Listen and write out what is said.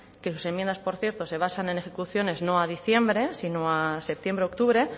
que sus enmiendas por cierto se basan en ejecuciones no a diciembre sino a septiembre octubre